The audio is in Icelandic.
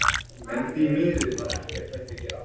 En því miður var ekkert hægt að gera.